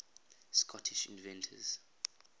scottish inventors